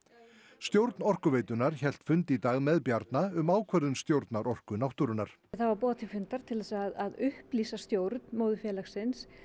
stjórn Orkuveitunnar hélt fund í dag með Bjarna um ákvörðun stjórnar Orku náttúrunnar það var boðað til fundar til að upplýsa stjórn móðurfélagsins